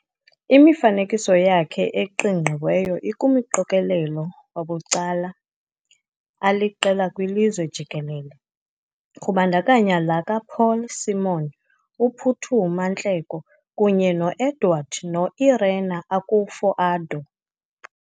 Imifanekiso yakhe eqingqiweyo ikumqokelelo wabucala aliqela kwilizwe jikelele, kubandakanya la kaPaul Simon, uPhuthuma Nhleko, kunye no-Edward no-Irene Akufo-Addo.